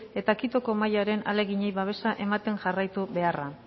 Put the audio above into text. eta quitoko mahaiaren ahaleginei babesa ematen jarraitu beharra